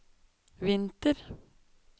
vinter